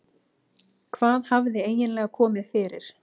Hvað hafði eiginlega komið fyrir?